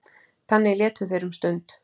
Þannig létu þeir um stund.